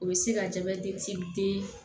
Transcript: U bɛ se ka jabɛti den